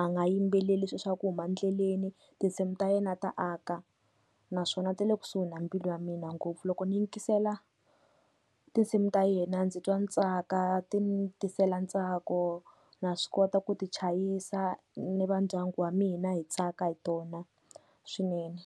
a nga yimbeleli swi swa ku huma ndleleni tinsimu ta yena ta aka naswona ti le kusuhi na mbilu ya mina ngopfu, loko ni yingisela tinsimu ta yena ndzi twa ni tsaka ti ni tisela ntsako na swi kota ku ti chayisa ni va ndyangu wa mina hi tsaka hi tona swinene.